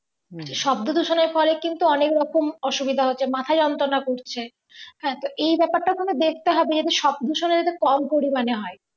হম শব্দ দূষণের ফলে কিন্তু অনেক রকম অসুবিধা হচ্ছে মাথা যন্ত্রণা করছে হ্যাঁ তো এই ব্যাপারটাও কিন্তু তো না দেখতে হবে যাতে শব্দ দূষণের এটা কম পরিমাণে হয়।